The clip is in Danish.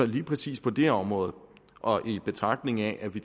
lige præcis på det område og i betragtning af at vi